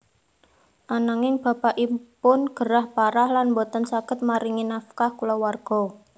Ananging bapakipun gerah parah lan boten saged maringi nafkah kulawarga